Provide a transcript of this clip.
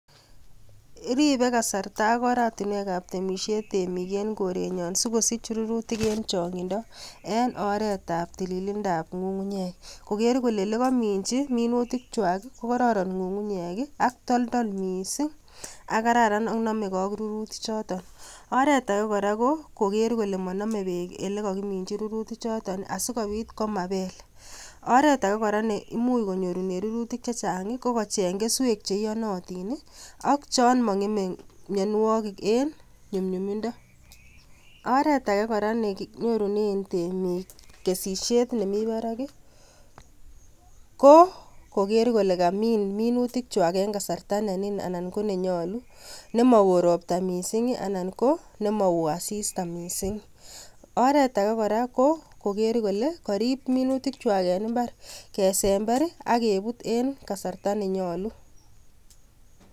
Ripee kasartaa ak oratinweek ab temisiet en korenyoon sikosiich rurutiik en chaangindo en oret ab tilinda ab ngungunyeek koger kole ole kamichii minutiik kwaak ko kororon ngungunyeek ak totol missing ak kararan ak name gei ak rurutiik kwako oret age kora ko koger kole maname beek en rurutiik chotoon asikobiit komabeel oreet agei kora neimuuch konyoor rurutiik chechaang ii ko kocheeng kesuek che iyanatiin ii ak chaang mangemei mianwagik en nyumnyumindaa oret age nekinyoruneen temiik kesisiet nemii baraak ii ko koger kole kamiin minutiik kwaak en kasarta ne niin anan ko ne nyaluu ne ma wooh roptaa missing ii anan ko ne ma wooh assista missing anan ko oret agei kora ko koriip minutiik kwaak en mbaar akebuut en kasarta ne nyaljiin.